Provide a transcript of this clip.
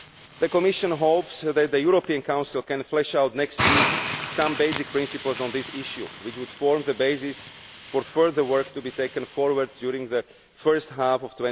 The Commission hopes that the European Council can flesh out next week some basic principles on this issue, which would form the basis for further work to be taken forward during the first half of